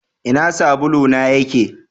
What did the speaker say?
Ina sabulu na yake?